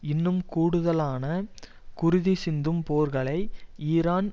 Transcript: இன்னும் கூடுதலான குருதி சிந்தும் போர்களை ஈரான்